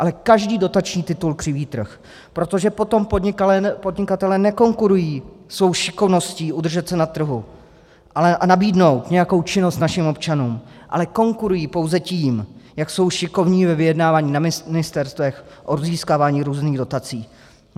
Ale každý dotační titul křiví trh, protože potom podnikatelé nekonkurují svou šikovností udržet se na trhu a nabídnout nějakou činnost našim občanům, ale konkurují pouze tím, jak jsou šikovní ve vyjednávání na ministerstvech o získávání různých dotací.